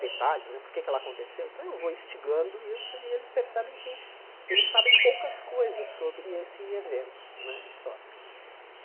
detalhes né, porque é que ela aconteceu, então eu vou instigando isso e eles percebem que eles sabem poucas coisas sobre esse evento né histórico.